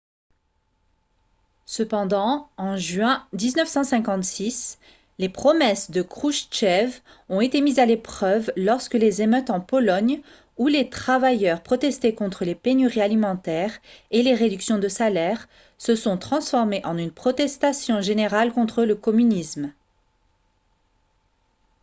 cependant en juin 1956 les promesses de khrouchtchev ont été mises à l'épreuve lorsque les émeutes en pologne où les travailleurs protestaient contre les pénuries alimentaires et les réductions de salaires se sont transformées en une protestation générale contre le communisme